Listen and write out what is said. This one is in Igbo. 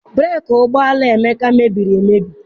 Breeki ụgbọala Emeka mebiri emebi.